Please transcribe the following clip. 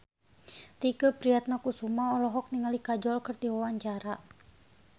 Tike Priatnakusuma olohok ningali Kajol keur diwawancara